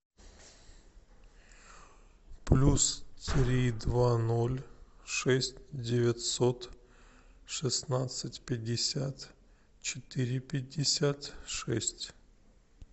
плюс три два ноль шесть девятьсот шестнадцать пятьдесят четыре пятьдесят шесть